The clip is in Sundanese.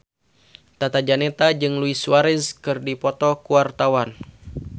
Tata Janeta jeung Luis Suarez keur dipoto ku wartawan